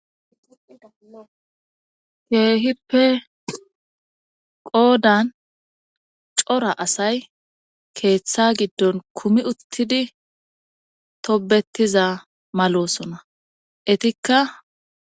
Keehippe qoodan cora asay keeththa giddon kumi uttidi tobettiza malosona etikka.